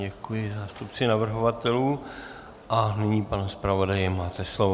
Děkuji zástupci navrhovatelů a nyní, pane zpravodaji, máte slovo.